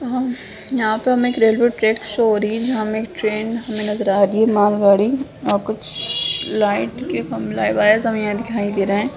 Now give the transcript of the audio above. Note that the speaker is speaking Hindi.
यहाँ पे हमे एक रेलवे ट्रैक शो हो रही है जहाँ हमे एक ट्रैन नज़र आ रही है माल गाड़ी और कुछ लाइट के खम हमे दिखाई दे रहे है।